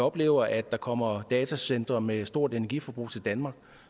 oplever at der kommer datacentre med et stort energiforbrug til danmark